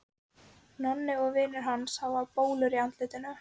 Nonni og vinir hans hafa bólur í andlitinu.